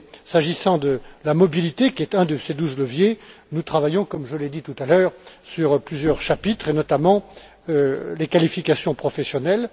S'agissant de la mobilité, qui est un de ces douze leviers, nous travaillons, comme je l'ai dit tout à l'heure, sur plusieurs chapitres, notamment sur les qualifications professionnelles.